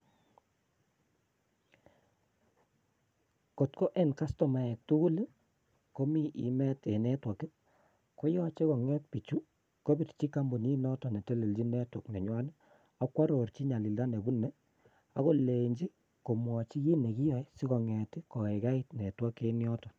Kot KO e kastoemaek tuguul komi kaimet eng network I,koyoche longer biichu kobirchiii kompunit notok netelelen kompunit nenywanet, ak kwarorchi nyalilda nebune akolenyi komwochi kiit nekiyoe sikonget kokaikait network eng yoton